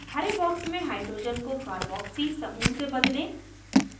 हरे box में hydrogen को carboxy carboxy समूह से बदलें